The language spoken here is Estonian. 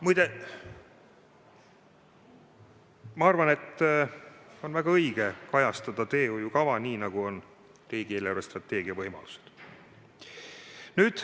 Muide, ma arvan, et on väga õige kajastada plaanid teehoiukavas nii, nagu on riigi eelarvestrateegia võimalused.